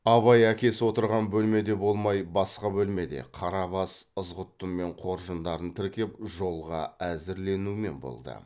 абай әкесі отырған бөлмеде болмай басқа бөлмеде қарабас ызғұттымен қоржындарын тіркеп жолға әзірленумен болды